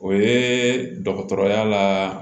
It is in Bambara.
O ye dɔgɔtɔrɔya la